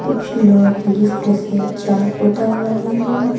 कुछ लोग लिफ्ट से चढ़ उतर रहे हैं।